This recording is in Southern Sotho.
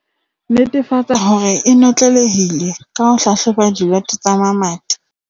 Netefatsa hore e notlelehile ka ho hlahloba diloto tsa mamati.